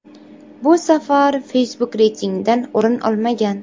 Bu safar Facebook reytingdan o‘rin olmagan.